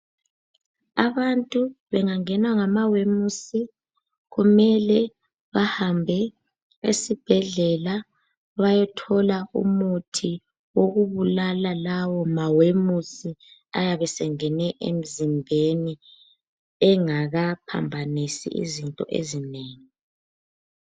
Abantu bengangenwa ngama wemusi, kumele bahambe esibhedlela bayethola umuthi wokubulala lawo mawemusi ayabe sengene emzimbeni engaka phambanisi izinto ezinengi.